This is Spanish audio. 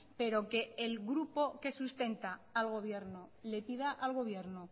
pero que el grupo que sustenta al gobierno le pida al gobierno